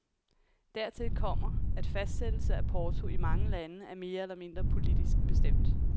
Dertil kommer, at fastsættelse af porto i mange lande er mere eller mindre politisk bestemt.